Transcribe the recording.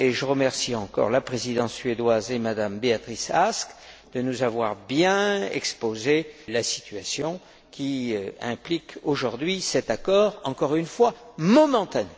Je remercie encore la Présidence suédoise et M me Béatrice Ask de nous avoir bien exposé la situation qui implique aujourd'hui cet accord, encore une fois, momentané.